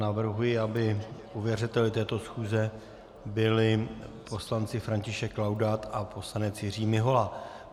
Navrhuji, aby ověřovateli této schůze byli poslanci František Laudát a poslanec Jiří Mihola.